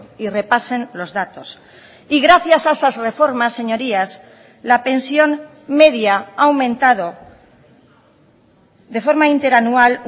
y repasen los datos y gracias a esas reformas señorías la pensión media ha aumentado de forma interanual